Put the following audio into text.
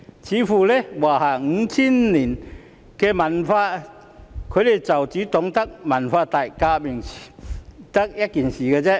似乎在華夏 5,000 年的文化中，他們只懂得文革這件事。